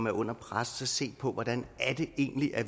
er under pres at se på hvordan